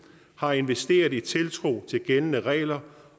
har investeret i tiltro til gældende regler